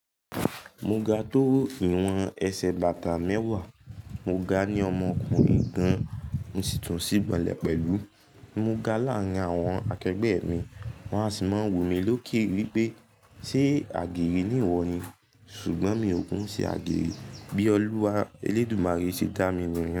Mo ga tó ìwọ̀n ẹsẹ̀ bàtà mẹ́wàá, mo ga ní ọmọkùnrin gan, mo sì tún sí gbọlé pẹ̀lú. Mo ga láàárín àwọn akegbe mi, won a sì máa ń wù mí lókè wípé ṣe àgérè ni ìwọ ni, ṣùgbọ́n mi ò kin ṣe àgéré, bí Olúwa Elédùmarè ṣe dá mi nìyẹn.